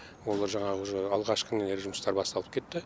олар жаңағы уже алғашқы нелер жұмыстар басталып кетті